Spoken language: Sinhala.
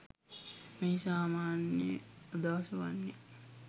මෙහි සාමාන්‍ය අදහස වන්නේ